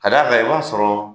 Ka d'a kan i b'a sɔrɔ